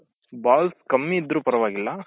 balls ಕಮ್ಮಿ ಇದ್ರೂ ಪರ್ವಾಗಿಲ್ಲ